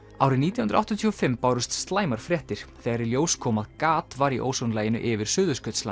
árið nítján hundruð áttatíu og fimm bárust slæmar fréttir þegar í ljós kom að gat var í ósonlaginu yfir Suðurskautslandinu